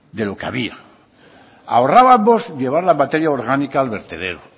de lo que había ahorrábamos llevar la materia orgánica al vertedero